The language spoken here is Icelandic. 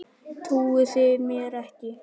Trúið þið mér ekki?